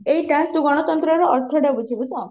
ଏଇଟା ତୁ ଗଣତନ୍ତ୍ରର ଅର୍ଥ ଟା ତୁ ବୁଝିଲୁ ତ